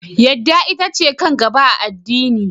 Yadda ita ce kan gaba a addini.